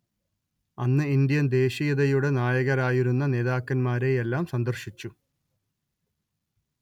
അന്ന് ഇൻഡ്യൻ ദേശീയതയുടെ നായകരായിരുന്ന നേതാക്കന്മാരെയെല്ലാം സന്ദർശിച്ചു